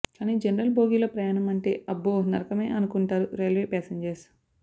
కానీ జనరల్ బోగీలో ప్రయాణం అంటే అబ్బో నరకమే అనుకుంటారు రైల్వే ప్యాసింజర్స్